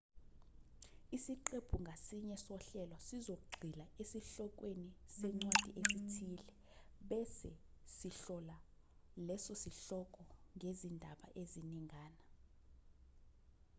isiqephu ngasinye sohlelo sizogxila esihlokweni sencwadi ethile bese sihlola leso sihloko ngezindaba eziningana